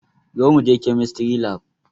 Zo muje kemistry lab